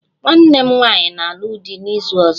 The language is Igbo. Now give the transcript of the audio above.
Nwanne m nwanyị na-alụ di n'izu ọzọ